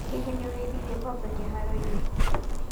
Hihĩ nĩ ũrĩ ithirie ngombe kĩharo-inĩ?